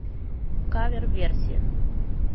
кавер версия